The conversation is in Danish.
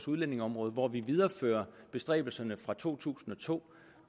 udlændingeområdet hvor vi viderefører bestræbelserne fra to tusind og to